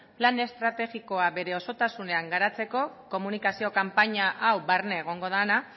plan estrategikoa bere osotasunean garatzeko komunikazio kanpaina hau barne egongo dena